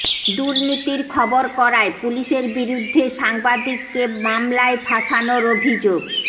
দুর্নীতির খবর করায় পুলিশের বিরুদ্ধে সাংবাদিককে মামলায় ফাঁসানোর অভিযোগ